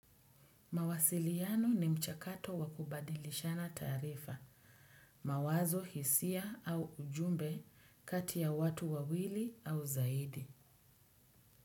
Mawasiliano ni mchakato wa kubadilishana taarifa, mawazo, hisia au ujumbe kati ya watu wawili au zaidi.